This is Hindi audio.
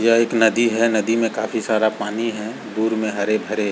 यह एक नदी है नदी में काफी सारा पानी है दूर में हरे-भरे --